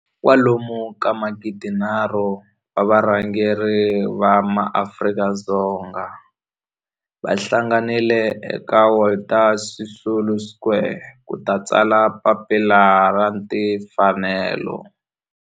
kwalomu ka magidi nharhu, 3 000 wa varhangeri va maAfrika-Dzonga va hlanganile eka Walter Sisulu Square ku ta tsala Papila ra Tinfanelo.